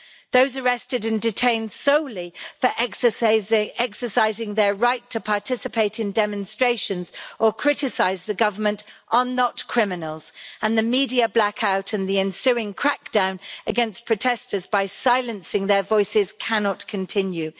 Those arrested and detained solely for exercising their right to participate in demonstrations or criticise the government are not criminals, and the media blackout in the ensuing crackdown against protesters by silencing their voices cannot continue.